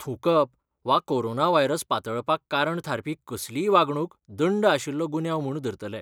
थूंकप वा corona virus पातळपाक कारण थारपी कसलीय वागणूक दंड आशिल्लो गुन्यांव म्हूण धरतले.